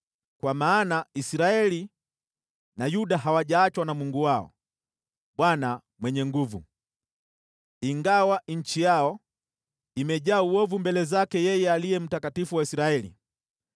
Kwa maana Israeli na Yuda hawajaachwa na Mungu wao, Bwana Mwenye Nguvu Zote, ingawa nchi yao imejaa uovu mbele zake yeye Aliye Mtakatifu wa Israeli.